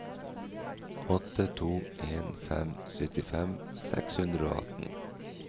åtte to en fem syttifem seks hundre og atten